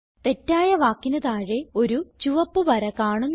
തെറ്റായ വാക്കിന് താഴെ ഒരു ചുവപ്പ് വര കാണുന്നു